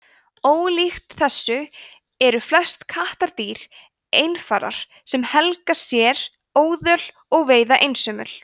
ólíkt þessu eru flest kattardýr einfarar sem helga sér óðöl og veiða einsömul